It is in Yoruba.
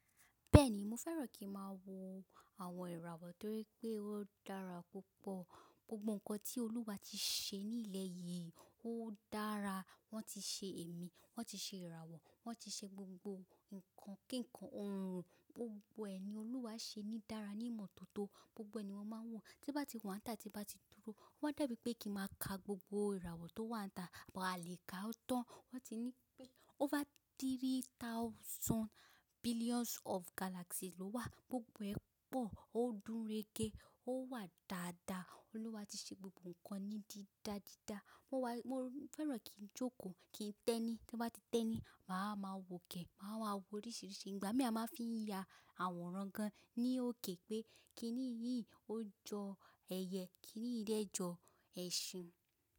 Bẹ́ẹ̀ni, mo fẹ́ràn kíń máa wo àwọn ìràwọ̀ torí pé ó dára púpọ̀. Gbogbo ǹkan tí Olúwa ti ṣe ní ilẹ̀ yìí ó dára. Wọ́n ti ṣe èmi, wọ́n ti ṣe ìràwọ̀, wọ́n ti ṣe gbogbo ǹkan kíǹkan, ohun gbogbo ẹ̀ni Olúwa ṣe ní dára ní ìmọ́tótó. Gbogbo ẹni mọ n máa ń wò, tí bá ti wa nitá, tí bá ti dúró, ó máa dàbí pé kíń máa ka gbogbo ìràwọ̀ tó wa nita àmọ́ a lè ka tán. Wọ́n ti nípé over three thousand billions of galaxy ló wà, gbogbo ẹ pọ̀, ó gunrege, ó wà dáadáa. Olúwa ti ṣe gbogbo ǹkan ní dídá dídá. Mo wá, mo fẹ́ràn kín jókòó, kín tẹ́ni, tí bá ti tẹ́ni, màá ma wòkè, màá ma wò oríṣìíríṣìí ìgbà. Mi a máa fi ya àwòrán gan ní òkè pé kíní yìí ó jọ ẹyẹ, kíní yìí dẹ jọ ẹṣin.